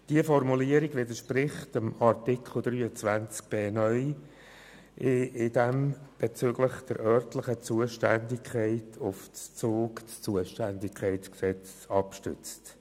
Diese Formulierung widerspricht dem Artikel 23b (neu), welcher bezüglich der örtlichen Zuständigkeit auf das Zuständigkeitsgesetz (ZUG) verweist.